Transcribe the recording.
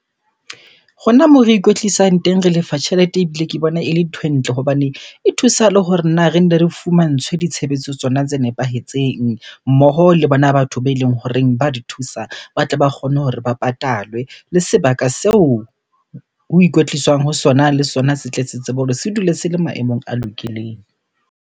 Rona moo re ikwetlisang teng, re lefa tjhelete ebile ke bona ele nthwe ntle hobaneng e thusa le hore na re nne re fumantshwe ditshebetso tsona tse nepahetseng. Mmoho le bona batho be eleng horeng ba di thusa, ba tle ba kgone hore ba patalwe. Le sebaka seo ho ikwetliswa ho sona, le sona se tle se tsebe hore se dule se le maemong a lokileng.